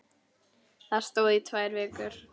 Það stóð í tvær vikur.